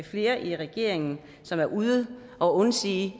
flere i regeringen som er ude og undsige